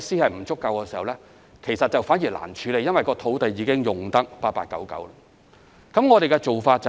舊區設施不足，反而難以處理，因為土地已經用得八八九九。